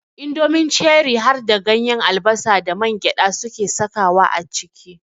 Indomin Ceri harda ganyen albasa da mangyaɗa suke sakawa a ciki.